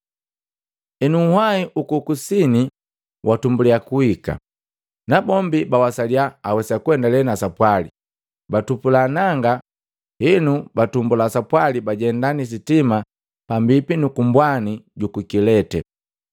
Henu nhwai huku ku kusini watumbuliya kuhika, nabombi bawasalia awesa kuendale na sapwali, batupula nanga henu batumbulia sapwali, bajenda ni sitima pambipi nuku mbwani juku Kilete.